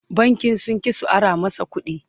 bankin sun ƙi su Ara masa ƙuɗi